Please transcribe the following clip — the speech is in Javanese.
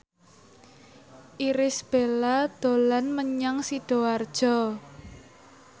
Irish Bella dolan menyang Sidoarjo